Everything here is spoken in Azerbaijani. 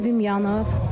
Evim yanıb.